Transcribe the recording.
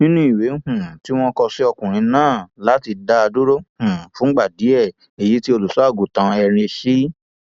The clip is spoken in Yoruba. nínú ìwé um tí wọn kọ sí ọkùnrin náà láti dá a dúró um fúngbà díẹ èyí tí olùṣọàgùtàn henry c